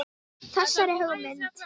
Þessari hugmynd